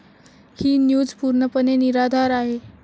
ही news पूर्णपणे निराधार आहे.